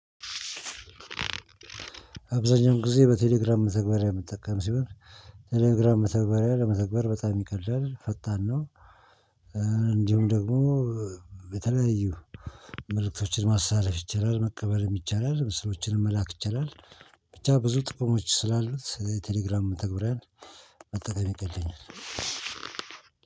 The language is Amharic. አብዛኛውን ጊዜ በቴሌግራም መተግበሪያ ምጠቀም ሲሆን ቴሌግራም መተግበሪያ ለመተግበር በጣም ይቀላል ፈጣን ነው። እንዲሁም ደግሞ የተለያዩ መልእክቶችን ማስተላለፍ ይቻላል መቀበልም ይቻላል ምስሎችንም መላክ ይቻላል። ብቻ ብዙ ጥቅሞች ስላሉት የቴሌግራም መተግበሪያን መጠቀም ይቀለኛል።